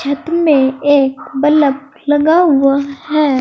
Room में एक bulb लगा हुआ है।